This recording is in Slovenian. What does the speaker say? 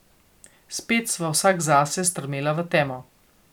Spet sva vsak zase strmela v temo.